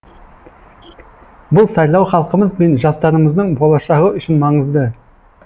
бұл сайлау халқымыз бен жастарымыздың болашағы үшін маңызды